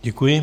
Děkuji.